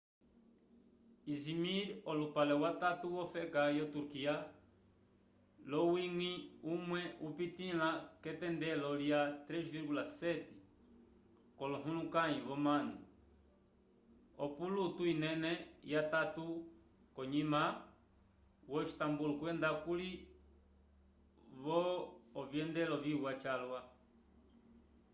izimir olupale watatu wofeka yo turquia l'owiñgi umwe upitĩla k'etendelo lya 3,7 k'olohulukãyi vomanu opolutu inene yatatu k'onyima yo istambul kwenda kuli vo ovyendelo viwa calwa